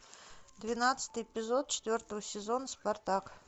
двенадцатый эпизод четвертого сезона спартак